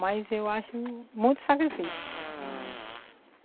Mas eu acho muito sacrifício.